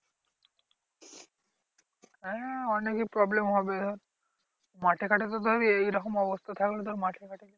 হ্যাঁ অনেকই problem হবে। মাঠে ঘাটে তো ধর এইরকম অবস্থা থাকলে তখন মাঠে ঘাটে